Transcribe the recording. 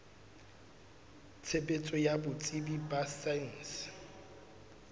tshebetso ya botsebi ba saense